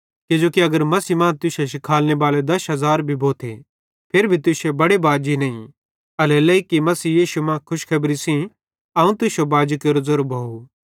किजोकि अगर मसीह मां तुश्शे शिखालनेबाले दश हज़ार भी भोथे फिरी भी तुश्शे बड़े बाजी नईं एल्हेरेलेइ कि मसीह यीशु मां खुशखेबरी सेइं अवं तुश्शो बाजी केरो ज़ेरो भोव